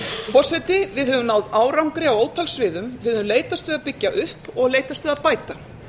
forseti við höfum náð árangri á ótal sviðum við höfum leitast við að byggja upp og leitast við að bæta